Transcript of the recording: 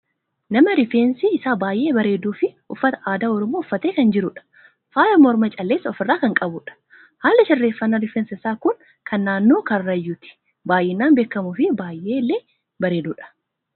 Nama rifeensi isaa baay'ee bareeduu fi uffata aadaa oromoo uffattee kan jirudha. Faaya mormaa callees ofirraa kan qabudha. Haalli sirreeffannaa rifeensa isaa kun kan naannoo karrayyuutti baayyinaan beekkamufi baay'ee lee bareedudha.